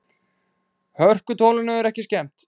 Hörkutólinu er ekki skemmt.